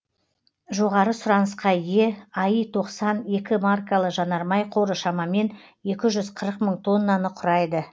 жоғары сұранысқа ие аи тоқсан екі маркалы жанармай қоры шамамен екі жүз қырық мың тоннаны құрайды